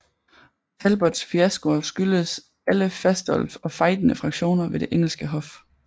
Talbots fiaskoer skyldes alle Fastolf og fejdende fraktioner ved det engelske hof